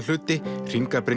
hluti